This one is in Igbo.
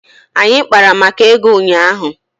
Anyị kpara maka ego ụnyaahụ